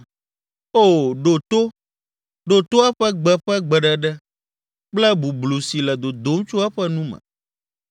O ɖo to! Ɖo to eƒe gbe ƒe gbeɖeɖe kple bublu si le dodom tso eƒe nu me.